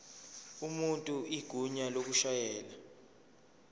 umuntu igunya lokushayela